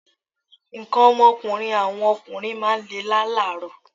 Nǹkan ọmọkùnrin àwọn ọkùnrin máa ń lè lálààrọ̀